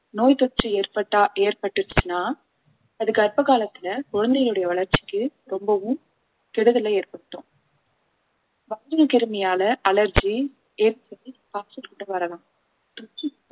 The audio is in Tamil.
நோய் தொற்று ஏற்பட்டா ஏற்பட்டுச்சுன்னா அது கர்ப்ப காலத்துல குழந்தைகளுடைய வளர்ச்சிக்கு ரொம்பவும் கெடுதலை ஏற்படுத்தும் கிருமியால allergy ஏற்படுது வரலாம்